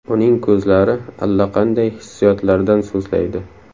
Uning ko‘zlari allaqanday hissiyotlardan so‘zlaydi.